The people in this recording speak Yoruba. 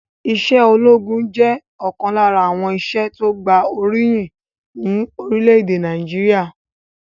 Ìṣe ológun jẹ́ ọ̀kan lára àwọn iṣẹ́ tí gba oríyìn ni orílẹ̀èdè Nàìjíríà